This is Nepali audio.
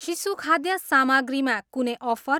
शिशुखाद्य सामग्री मा कुनै अफर?